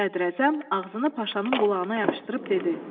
Sədrəzəm ağzını paşanın qulağına yapışdırıb dedi.